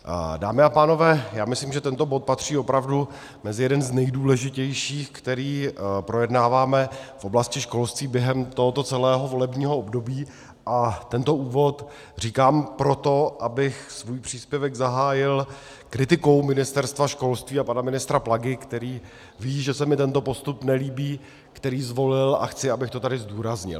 Dámy a pánové, já myslím, že tento bod patří opravdu mezi jeden z nejdůležitějších, který projednáváme v oblasti školství během tohoto celého volebního období, a tento úvod říkám proto, abych svůj příspěvek zahájil kritikou Ministerstva školství a pana ministra Plagy, který ví, že se mi tento postup nelíbí, který zvolil, a chci, abych to tady zdůraznil.